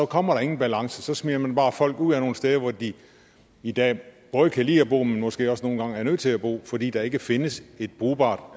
kommer der ingen balance så smider man bare folk ud af nogle steder hvor de i dag både kan lide bo men måske også nogle gange er nødt til at bo fordi der ikke findes et brugbart